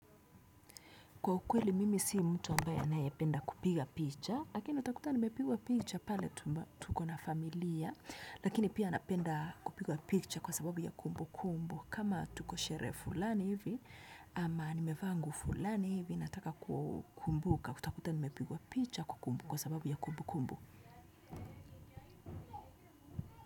Kwa ukweli mimi si mtu ambaye ninayependa kupiga picha lakini utakuta nimepigwa picha pale tukona familia lakini, pia napenda kupigwa picha kwa sababu ya kumbu kumbu. Kama, tuko sherehe fulani hivi, ama nimevaa nguo fulani hivi, nataka kukumbuka. Utakuta nimepigwa picha kwa sababu ya kumbu kumbu.